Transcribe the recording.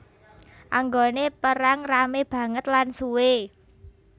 Anggone perang rame banget lan suwe